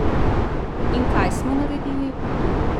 In kaj smo naredili?